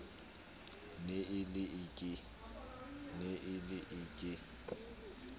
ne e le e ke